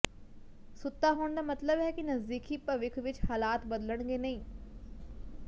ਸੁੱਤਾ ਹੋਣ ਦਾ ਮਤਲੱਬ ਹੈ ਕਿ ਨਜ਼ਦੀਕੀ ਭਵਿੱਖ ਵਿੱਚ ਹਾਲਾਤ ਬਦਲਣਗੇ ਨਹੀਂ